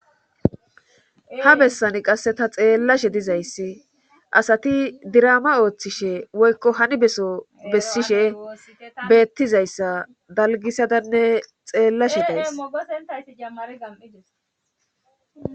Ha bessani qasse ta xeellashe dizayssi asati dirama ooththishe woykko hani beso bessishe beettizayssa dalgisadanne xeellashe daysaysammarga7ides